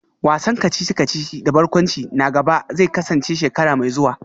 Wasan kacici-kacici da barkwanci na gaba zai kasance shekara mai zuwa